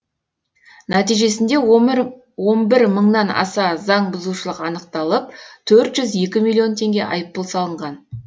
нәтижесінде он бір мыңнан аса заңбұзушылық анықталып төрт жүз екі миллион теңге айыппұл салынған